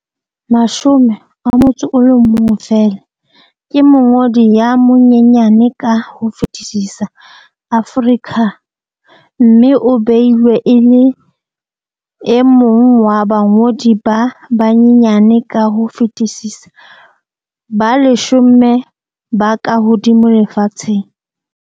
11 feela, ke mongodi ya monyenyane ka ho fetisisa Aforika mme o beilwe e le e mong wa bangodi ba banyenyane ka ho fetisisa ba leshome ba kahodimo lefatsheng.